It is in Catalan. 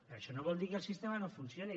però això no vol dir que el sistema no funcioni